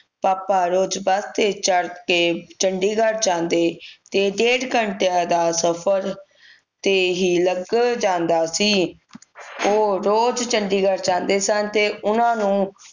ਪਾਪਾ ਰੋਜ਼ ਬੱਸ ਤੇ ਚੜ੍ਹ ਕੇ ਚੰਡੀਗੜ੍ਹ ਜਾਂਦੇ ਤੇ ਡੇਢ ਘੰਟੇ ਦਾ ਸਫ਼ਰ ਤੇ ਹੀ ਲੱਗ ਜਾਂਦਾ ਸੀ ਉਹ ਰੋਜ਼ ਚੰਡੀਗੜ੍ਹ ਜਾਂਦੇ ਸਨ ਤੇ ਉਨ੍ਹਾਂ ਨੂੰ